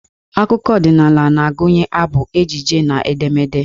Akụkọ ọdịnaala na-agụnye abụ, ejije na edemede.